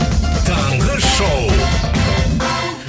таңғы шоу